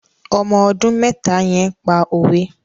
Ọmọ ọdún mẹ́ta yẹn pa òwe.